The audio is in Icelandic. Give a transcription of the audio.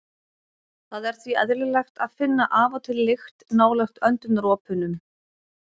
Það er því eðlilegt að finna af og til lykt nálægt öndunaropunum.